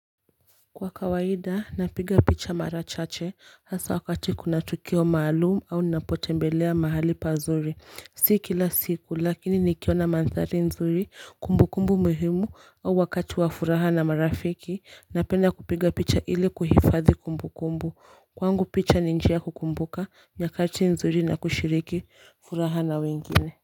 Kwa kawaida napiga picha mara chache hasa wakati kuna tukio maalumu au nnapotembelea mahali pazuri si kila siku lakini nikiona manthari nzuri kumbukumbu muhimu au wakati wa furaha na marafiki napenda kupiga picha ili kuhifadhi kumbukumbu kwangu picha ni njia ya kukumbuka nyakati nzuri na kushiriki furaha na wengine.